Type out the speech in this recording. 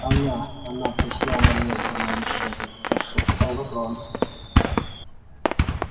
она она прислала мне громовещатель прошептал рон